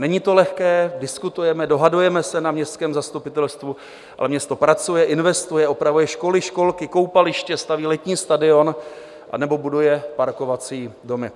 Není to lehké, diskutujeme, dohadujeme se na městském zastupitelstvu, ale město pracuje, investuje, opravuje školy, školky, koupaliště, staví letní stadion anebo buduje parkovací domy.